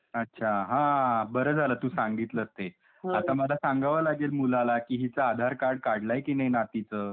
अच्छा ! हां .. बरं झालं तू सांगितलं ते. आता मला सांगावा लागेल मुलाला कि हिचं आधार कार्ड काढला आहे कि नाही नातीचं?